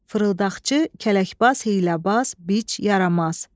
Fırıldaqçı, kələkbaz, hiyləbaz, biç, yaramaz.